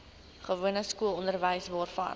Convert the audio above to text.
gewone skoolonderwys waarvan